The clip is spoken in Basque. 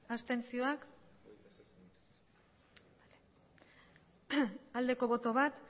abstentzioa bat bai